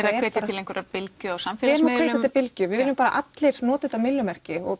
að hvetja til bylgju á samfélagsmiðlum til bylgju við viljum að allir noti þetta myllumerki og